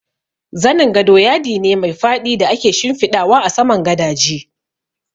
Zanin gado yadi ne mai faɗi da ake shimfiɗawa a saman gadaje